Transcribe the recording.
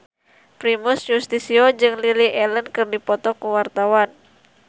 Primus Yustisio jeung Lily Allen keur dipoto ku wartawan